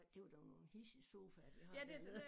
Det var da nogle hidsige sofaer de har dernede